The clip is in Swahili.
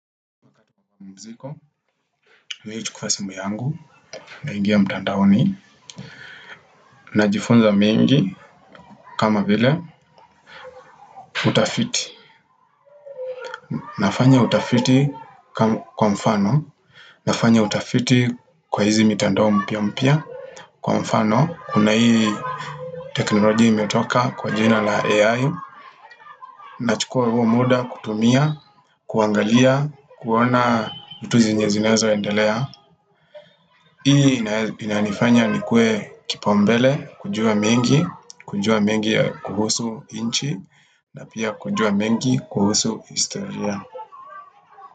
Pumziko, mimi huchukua simu yangu, na ingia mtandaoni, na jifunza mengi, kama vile, utafiti. Nafanya utafiti kwa mfano, nafanya utafiti kwa hizi mitandao mpya mpya, kwa mfano, kuna hii teknoloji imetoka kwa jina la AI, na chukua huo muda kutumia, kuangalia, kuona vitu zenye zinaweza endelea. Hii inanifanya nikuwe kipaumbele, kujua mengi, kujua mengi kuhusu nchi na pia kujua mengi kuhusu historia.